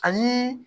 Ani